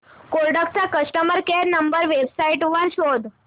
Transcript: Kodak चा customer care number website वर शोध